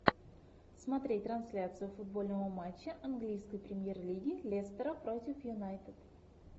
смотреть трансляцию футбольного матча английской премьер лиги лестера против юнайтед